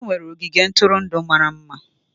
Anyị nwere ogige ntụrụndụ mara mma.